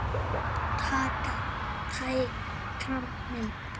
Táknræn mynd.